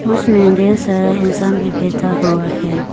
उसमें ढेर सारा इंसान भी बैठा हुआ है।